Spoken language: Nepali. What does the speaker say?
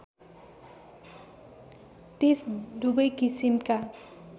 टेस्ट दुबै किसिमका